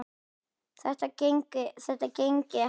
Þetta gangi ekki upp.